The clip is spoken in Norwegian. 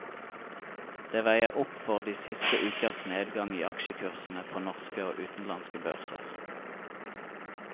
Det veier opp for de siste ukers nedgang i aksjekursene på norske og utenlandske børser.